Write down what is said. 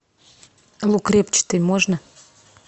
лук репчатый можно